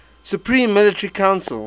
supreme military council